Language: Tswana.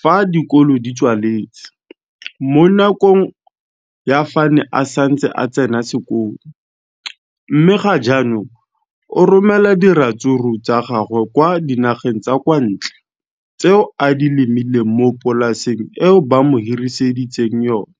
fa dikolo di tswaletse, mo nakong ya fa a ne a santse a tsena sekolo, mme ga jaanong o romela diratsuru tsa gagwe kwa dinageng tsa kwa ntle tseo a di lemileng mo polaseng eo ba mo hiriseditseng yona.